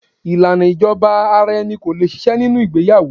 Ìlànà ìjọba ara-ẹni ko lè ṣiṣẹ́ nínú ìgbéyàwó.